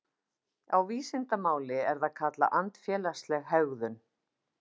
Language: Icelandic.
Á vísindamáli er það kallað andfélagsleg hegðun.